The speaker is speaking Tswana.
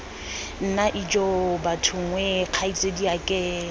nna ijoo bathong wee kgaitsadiake